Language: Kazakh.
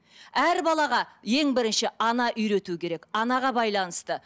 әр балаға ең бірінші ана үйрету керек анаға байланысты